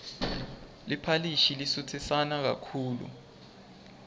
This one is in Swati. liphalishi lisutsisana kakhulu